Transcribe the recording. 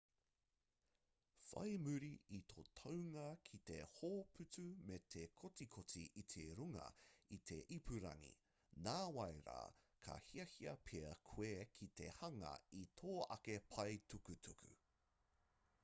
whai muri i tō taunga ki te hōputu me te kotikoti i runga i te ipurangi nāwai rā ka hiahia pea koe ki te hanga i tō ake pae tukutuku